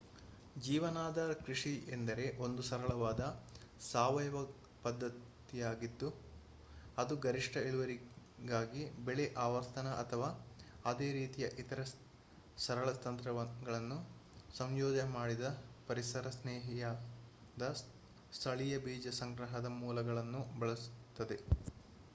ಜೀವನಾಧಾರ ಕೃಷಿ ಎಂದರೆ ಒಂದು ಸರಳವಾದ ಸಾವಯವ ಪದ್ದತಿಯಾಗಿದ್ದು ಅದು ಗರಿಷ್ಠ ಇಳುವರಿಗಾಗಿ ಬೆಳೆ ಆವರ್ತನ ಅಥವಾ ಅದೇ ರೀತಿಯ ಇತರೆ ಸರಳ ತಂತ್ರಗಳನ್ನು ಸಂಯೋಜನೆ ಮಾಡಿದ ಪರಿಸರಸ್ನೇಹಿಯಾದ ಸ್ಥಳೀಯ ಬೀಜ ಸಂಗ್ರಹದ ಮೂಲಗಳನ್ನು ಬಳಸುತ್ತದೆ